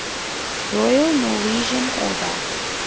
royal norwegian order